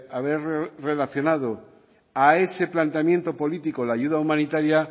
haber relacionado a ese planteamiento político la ayuda humanitaria